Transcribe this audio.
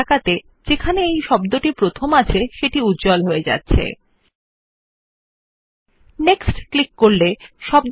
আমরা টাইপ করলেই আমরা দেখব যে প্রথম উদাহরণ টেক্সট এর কন্টেন্টস এলাকায় হাইলাইট হবে clicking on next will move the focus to the next instance of the word